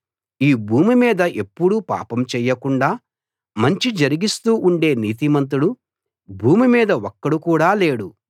ఈ భూమి మీద ఎప్పుడూ పాపం చేయకుండా మంచి జరిగిస్తూ ఉండే నీతిమంతుడు భూమి మీద ఒక్కడు కూడా లేడు